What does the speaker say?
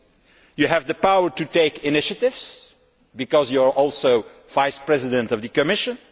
She has the power to take initiatives because she is also Vice President of the Commission.